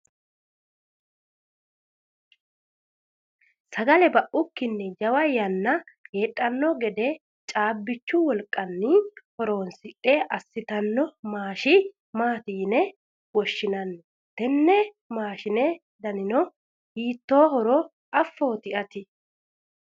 sagale baukkinni jawa yanna heedhanno gede caabbichu wolqanni horonsidhe assitanno maashi maati yine woshshinanni? tenne maashine danino hiittoohoro afoott ati?